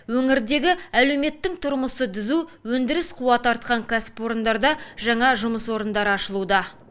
өңірдегі әлеуметтің тұрмысы түзу өндіріс қуаты артқан кәсіпорындарда жаңа жұмыс орындары ашылуда